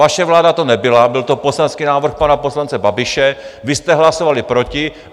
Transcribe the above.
Vaše vláda to nebyla, byl to poslanecký návrh pana poslance Babiše, vy jste hlasovali proti.